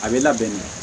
A bɛ labɛn